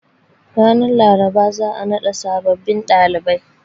Ranar Laraba za a naɗa sabbin ɗalibai.